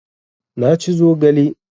Na ci zogale